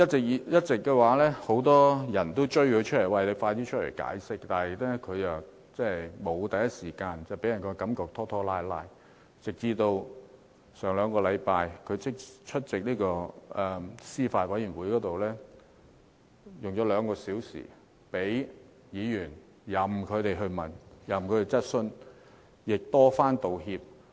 一直以來，很多人迫她出來解釋，但她沒有第一時間解釋，予人拖拖拉拉的感覺，直至上兩個星期，她才出席司法及法律事務委員會會議，花兩個多小時任由議員提問，並多番道歉。